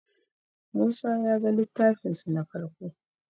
musa ya ga littafin su na farko